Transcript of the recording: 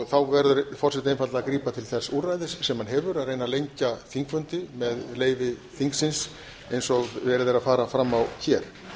þá verður forseti einfaldlega að grípa til þess úrræðis sem hann hefur að reyna að lengja þingfundi með leyfi þingsins eins og verið er að fara fram á hér